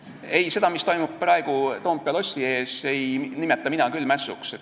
Ei, seda, mis toimub praegu Toompea lossi ees, ei nimeta mina küll mässuks.